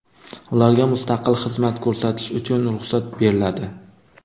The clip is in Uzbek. Ularga mustaqil xizmat ko‘rsatish uchun ruxsat beriladi.